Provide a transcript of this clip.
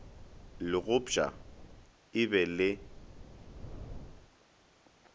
le gopšwa e be le